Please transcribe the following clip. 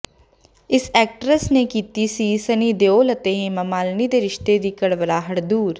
ਇਸ ਐਕਟਰਸ ਨੇ ਕੀਤੀ ਸੀ ਸਨੀ ਦਿਓਲ ਅਤੇ ਹੇਮਾ ਮਾਲਿਨੀ ਦੇ ਰਿਸ਼ਤੇ ਦੀ ਕੜਵਾਹਟ ਦੂਰ